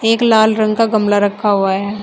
एक लाल रंग का गमला रखा हुआ है।